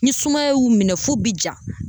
Ni sumaya y'u minɛ f'u bi ja .